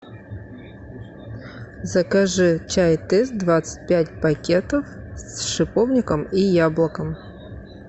закажи чай тесс двадцать пять пакетов с шиповником и яблоком